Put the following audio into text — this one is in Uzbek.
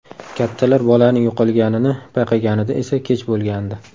Kattalar bolaning yo‘qolganini payqaganida esa kech bo‘lgandi.